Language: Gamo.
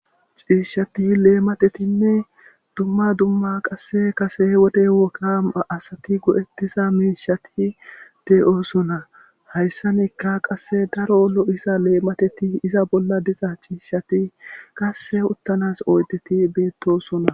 ciishati leematetinne dumma dumma qasse kase wode wokaa asati go7ettisa miishati de7oosona hayssanikka qasse daro lo7isa leemateti iza bolla diza ciishati qasse uttanas ooydeti beettosona